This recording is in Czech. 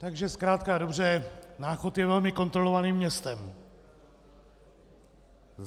Takže zkrátka a dobře, Náchod je velmi kontrolovaným městem.